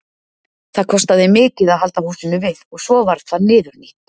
það kostaði mikið að halda húsinu við og svo varð það niðurnítt